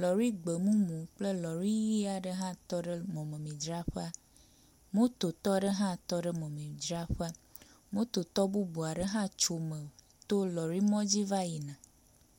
lɔri gbemumu kple lɔri ɣi aɖe hã tɔ ɖe mɔmemidzraƒea, mototɔ aɖe hã tɔ ɖe mɔmemidzraƒea. Mototɔ bubu aɖe hã tso me to lɔrimɔ dzi va yina.